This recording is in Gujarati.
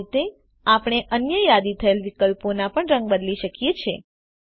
આ રીતે આપણે અન્ય યાદી થયેલ વિકલ્પોના પણ રંગ બદલી શકીએ છે